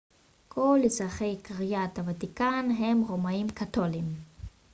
כל אזרחי קריית הוותיקן הם רומיים-קתוליים